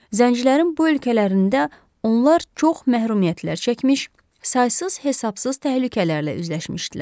Zəncilərin bu ölkələrində onlar çox məhrumiyyətlər çəkmiş, saysız hesabsız təhlükələrlə üzləşmişdilər.